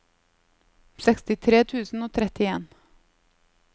sekstitre tusen og trettien